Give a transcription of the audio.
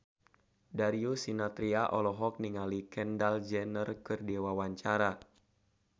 Darius Sinathrya olohok ningali Kendall Jenner keur diwawancara